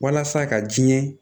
Walasa ka diɲɛ